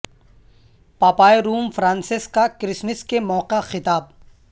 پاپائے Rome Francis کا Christmas کے موقع خطاب